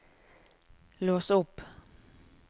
lås opp